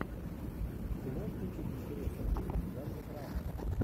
ты можешь включить интересный фильм в жанре драма